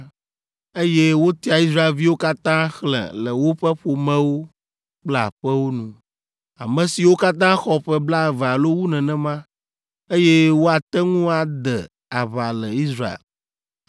Eye wotia Israelviwo katã xlẽ le woƒe ƒomewo kple aƒewo nu, ame siwo katã xɔ ƒe blaeve alo wu nenema, eye woate ŋu ade aʋa le Israel.